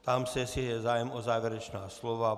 Ptám se, jestli je zájem o závěrečná slova.